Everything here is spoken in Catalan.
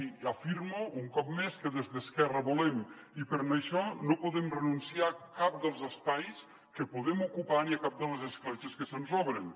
i afirmo un cop més que des d’esquerra volem i per això no podem renunciar a cap dels espais que podem ocupar ni a cap de les escletxes que se’ns obren